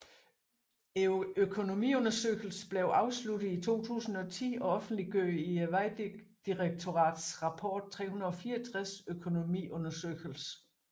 Økonomiundersøgelsen blev afsluttet i 2010 og offentliggjort i Vejdirektoratets rapport 364 Økonomiundersøgelse